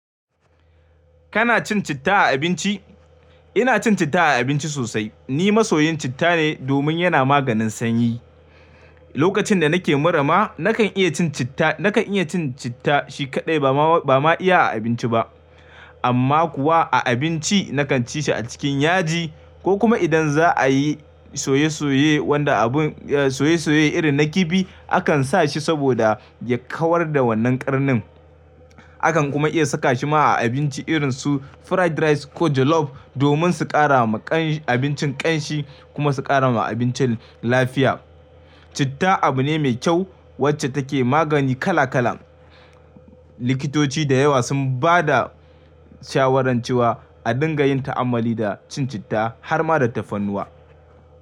Kana cin citta a abinci? Ina cin citta a abinci sosai. Ni masoyin citta ne domin yana maganin sanyi. Lokacin da nake mura ma nakan iya cin citta, nakan iya cin citta shi kaɗai ba ma, ba ma iya a abinci ba. Amma kuwa a abinci nakan ci shi a cikin yaji ko kuma idan za a yi soye-soye wanda abun, soye-soye irin na kifi akan sa shi saboda ya kawar da wannan ƙarnin. Akan kuma iya saka shi ma a abinci irin su fried rice ko jollof domin su ƙara ma abincin ƙanshi kuma su ƙara ma abincin lafiya. Citta abu ne mai kyau wacce take magani kala kala. Likitoci da yawa sun ba da shawaran cewa a dinga yin ta'ammali da cin citta har ma da tafarnuwa.